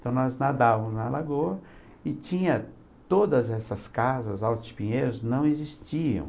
Então, nós nadávamos na lagoa e tinha todas essas casas, altos pinheiros, não existiam.